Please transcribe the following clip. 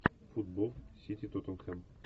футбол сити тоттенхэм